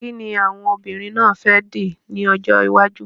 Kíni àwọn obìnrin náà fẹ́ dì ní ọjọ́ iwájú?